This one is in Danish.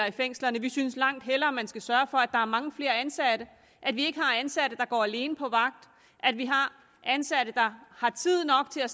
i fængslerne vi synes langt hellere man skal sørge for at der er mange flere ansatte at vi ikke har ansatte der går alene på vagt at vi har ansatte der har tid nok til at